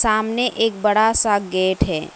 आमने एक बड़ा सा गेट है।